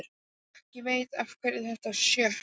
Ekki veitti af eftir þetta sjokk.